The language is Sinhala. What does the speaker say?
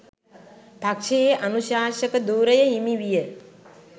පක්ෂයේ අනුශාසක ධුරය හිමි විය.